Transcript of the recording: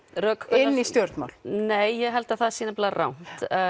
inn í stjórnmál nei ég held að það sé nefnilega rangt